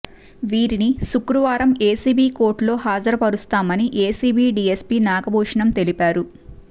వీరిని శుక్రవారం ఏసీబీ కోర్టులో హాజరుపరుస్తామని ఏసీబీ డీఎస్పీ నాగభూషణం తెలిపారు